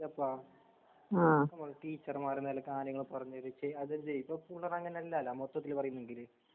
യെപ്പാ അതുപോലെ ടീച്ചര്മാര്നിലക്ക് കാര്യങ്ങൾപറഞ്ഞുതരീച്ച് അതെന്ത് മൊത്തത്തിൽപറയുന്നുണ്ടീല്ലെ.